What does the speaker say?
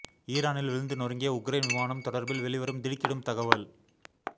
ஈரானில் விழுந்து நொறுங்கிய உக்ரைன் விமானம் தொடர்பில் வெளிவரும் திடுக்கிடும் தகவல்